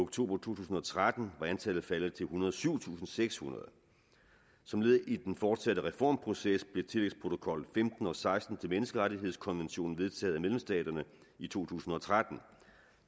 to tusind og tretten var antallet faldet til ethundrede og syvtusindsekshundrede som led i den fortsatte reformproces blev tillægsprotokol femten og seksten til menneskerettighedskonventionen vedtaget af medlemsstaterne i to tusind og tretten